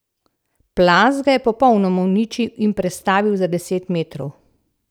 Plaz ga je popolnoma uničil in prestavil za deset metrov.